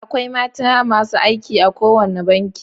Akwai mata masu aiki a kowane banki.